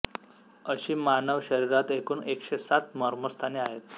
अशीं मानव शरिरांत एकूण एकशें सात मर्मस्थानें आहेत